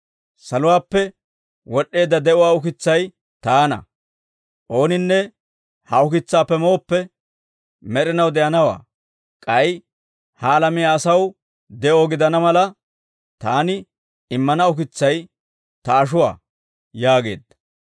Saluwaappe wod'd'eedda de'uwaa ukitsay taana; ooninne ha Ukitsaappe mooppe, med'inaw de'anawaa; k'ay ha alamiyaa asaw de'o gidana mala, taani immana ukitsay ta ashuwaa» yaageedda.